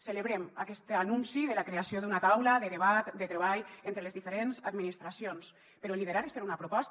celebrem aquest anunci de la creació d’una taula de debat de treball entre les diferents administracions però liderar és fer una proposta